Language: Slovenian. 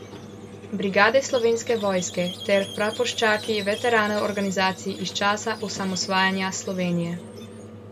Brigade Slovenske vojske ter praporščaki veteranov organizacij iz časa osamosvajanja Slovenije.